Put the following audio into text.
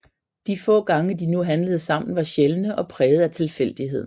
De få gange de nu handlede sammen var sjældne og præget af tilfældighed